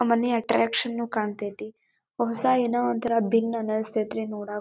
ಮನೆ ಅಟ್ರಾಕ್ಷನ್ನು ಕಾಣ್ತಿದ್ದಿ ಹೊಸಾ ಏನೋ ಒಂಥರಾ ಬಿನ್ ಅನಸ್ಟ್ತ್ರಿ ನೋಡಕ್ಕ.